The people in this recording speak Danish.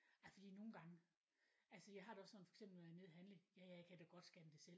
Ja fordi nogen gange. Altså jeg har det også sådan for eksempel når jeg er nede og handle jaja jeg kan da godt scanne det selv